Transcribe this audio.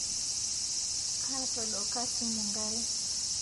Kaatodoka simu nkare